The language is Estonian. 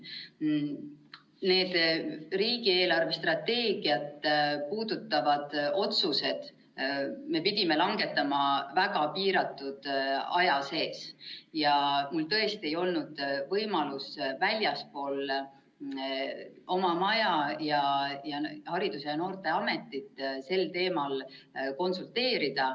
Need riigi eelarvestrateegiat puudutavad otsused me pidime langetama väga piiratud aja sees ja mul tõesti ei olnud võimalust väljaspool oma maja ja Haridus‑ ja Noorteametit sel teemal konsulteerida.